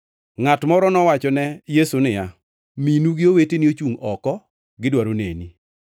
Ngʼat moro nowachone Yesu niya, “Minu gi oweteni ochungʼ oko, gidwaro neni.”